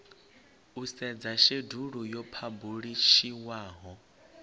u sedza shedulu yo phabulishiwaho